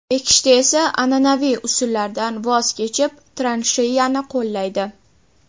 Ekishda esa an’anaviy usullardan voz kechib, transheyani qo‘llaydi.